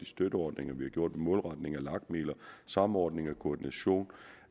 støtteordninger op målretning af lag midler samordning og koordination